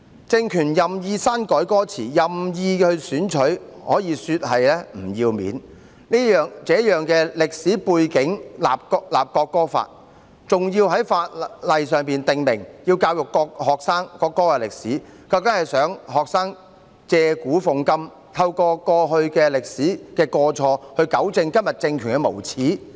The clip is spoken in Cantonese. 政權任意篡改歌詞，可說是不要臉，在這樣的歷史背景下制定國歌法，還要在法例訂明要教育學生國歌的歷史，究竟想學生借古諷今，透過歷史的過錯，糾正今天政權的無耻？